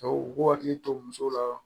u k'u hakili to musow la